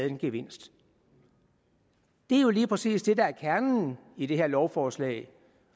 en gevinst det er jo lige præcis det der er kernen i det her lovforslag